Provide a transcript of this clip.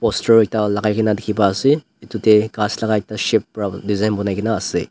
ustrow ekta lakai kena dekhe pai ase tu tey khass laga ekta shape bra design punai kena ase.